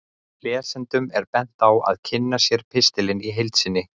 Lesendum er bent á að kynna sér pistilinn í heild sinni.